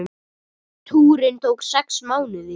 Túrinn tók sex mánuði.